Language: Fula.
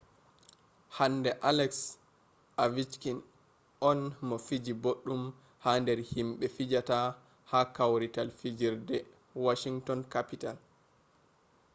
hande aleks ovechkin on mo fiji boɗɗum ha nder himɓe fijata ha kwarital fijerde washinton kapital